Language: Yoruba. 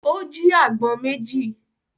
Ó jí àgbọn méjì.